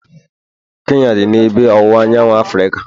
Kenya dị n'ebe ọwụwa anyanwụ Africa